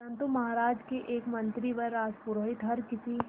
परंतु महाराज के एक मंत्री व राजपुरोहित हर किसी